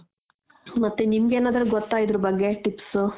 ಮತ್ತೆ ನಿಮ್ಗೆನಾದ್ರ ಗೊತ್ತ ಇದ್ರುಬಗ್ಗೆ tips